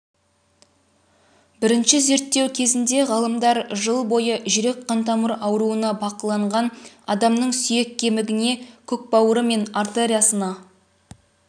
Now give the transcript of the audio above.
бірінші зерттеу кезінде ғалымдар жыл бойы жүрек-қан тамыр ауруына бақыланған адамның сүйек кемігіне көкбауыры мен артериясына